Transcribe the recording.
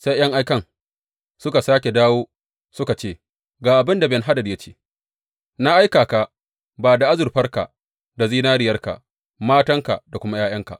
Sai ’yan aikan suka sāke dawo suka ce, Ga abin da Ben Hadad ya ce, Na aika ka ba da azurfarka da zinariyarka, matanka da kuma ’ya’yanka.